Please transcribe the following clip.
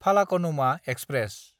Falaknuma express